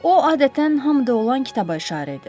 O adətən hamı da olan kitaba işarə edir.